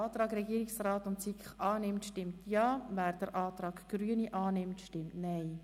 Wer den Antrag Regierungsrat/ SiK annimmt, stimmt Ja, wer den Antrag Grüne bevorzugt, stimmt Nein.